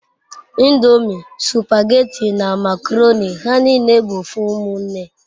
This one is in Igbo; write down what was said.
Ndomi, supageti na makoroni ha nine bu ofu umunne